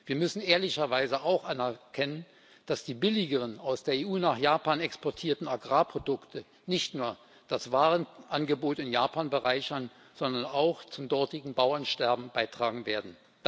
Wir müssen ehrlicherweise auch anerkennen, dass die billigeren aus der EU nach Japan exportierten Agrarprodukte nicht nur das Warenangebot in Japan bereichern, sondern auch zum dortigen Bauernsterben beitragen werden.